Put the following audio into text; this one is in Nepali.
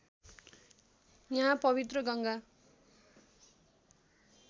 यहाँ पबित्र गङ्गा